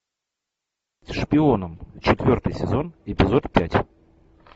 шпионом четвертый сезон эпизод пять